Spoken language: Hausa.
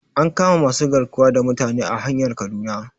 An kama masu garkuwa da mutane a hanyar kaduna